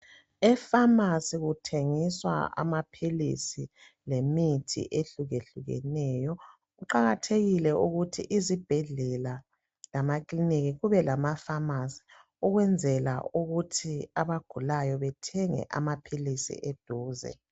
EFamasi kuthengiswa amaphilisi lemithi ehlukehlukeneyo kuqakathekile ukuthi izibhedlela lamakiliniki kubelamaFamasi okwenzela ukuthi abagulayo bethenge amaphilisi eduze.